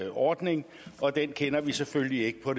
ordning og den kender vi selvfølgelig ikke på